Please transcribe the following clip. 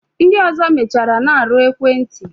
Ndi ọzọ mechara na-arụ ekwenti